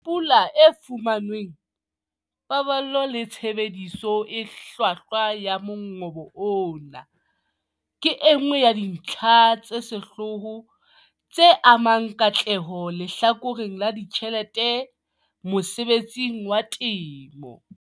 Pula e fumanweng, paballo le tshebediso e hlwahlwa ya mongobo ona, ke e nngwe ya dintlha tsa sehlooho tse amang katleho lehlakoreng la ditjhelete mosebetsing wa temo.